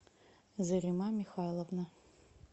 зарима михайловна